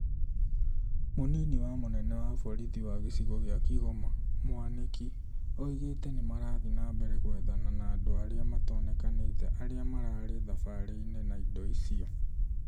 Munini wa mũnene wa borithi wa gicigo kia Kigoma , Mwaniki oigete nĩmarathiĩ na mbere gwethana na andũ arĩa matonekanite arĩa mararĩ thabari-inĩ na ĩndo icĩo